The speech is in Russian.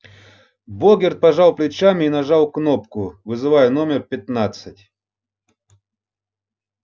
богерт пожал плечами и нажал кнопку вызывая номер пятнадцатый